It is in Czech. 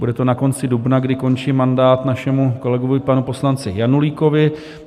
Bude to na konci dubna, kdy končí mandát našemu kolegovi, panu poslanci Janulíkovi.